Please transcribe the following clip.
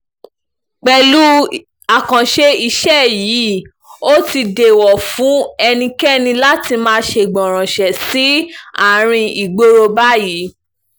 pẹ̀lú àkànṣe iṣẹ́ yìí ó ti dẹ̀ẹ̀wò fún ẹnikẹ́ni láti máa ṣègbọrànṣe sí àárín ìgboro báyìí